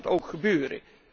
Ik zie dat ook gebeuren.